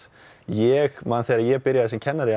ég man þegar ég byrjaði sem kennari